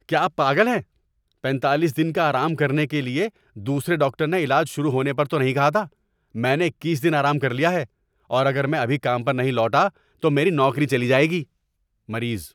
کیا آپ پاگل ہیں؟ پینتالیس دن کا آرام کرنے کے لیے دوسرے ڈاکٹر نے علاج شروع ہونے پر تو نہیں کہا تھا۔ میں نے اکیس دن آرام کر لیا ہے اور اگر میں ابھی کام پر نہیں لوٹا تو میری نوکری چلی جائے گی۔ (مریض)